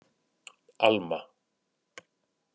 Alma